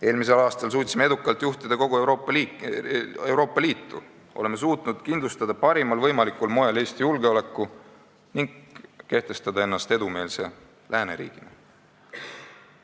Eelmisel aastal suutsime edukalt juhtida kogu Euroopa Liitu, oleme parimal võimalikul moel suutnud kindlustada Eesti julgeoleku ning kehtestada ennast edumeelse lääneriigina.